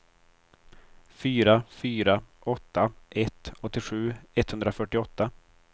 fyra fyra åtta ett åttiosju etthundrafyrtioåtta